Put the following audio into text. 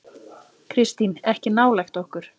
Kristín: Ekki nálægt okkur.